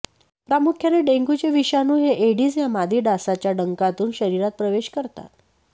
प्रामुख्याने डेंग्यूचे विषाणू हे एडिस या मादी डासाच्या डंखातून शरीरात प्रवेश करतात